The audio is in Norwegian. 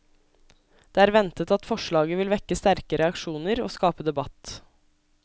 Det er ventet at forslaget vil vekke sterke reaksjoner, og skape debatt.